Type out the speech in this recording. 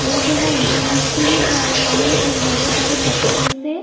लोग यहाँ एंजॉयमेंट के लिए जा रहे हैं उन बड़े-बड़े पत्थरों से--